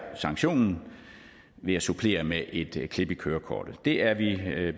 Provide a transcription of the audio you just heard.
sanktionen ved at supplere med et klip i kørekortet det er vi vi